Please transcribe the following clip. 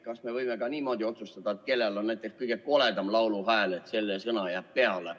Kas me võime ka niimoodi otsustada, et peale jääb selle sõna, kellel on kõige koledam lauluhääl?